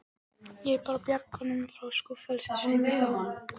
Ég er bara að bjarga honum frá skúffelsi, svei mér þá.